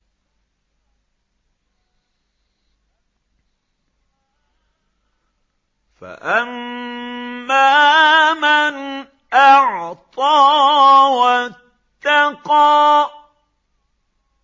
فَأَمَّا مَنْ أَعْطَىٰ وَاتَّقَىٰ